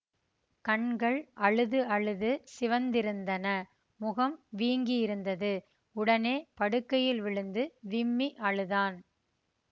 கண்கள் அழுது அழுது சிவந்திருந்தன முகம் வீங்கியிருந்தது உடனே படுக்கையில் விழுந்து விம்மி அழுதான்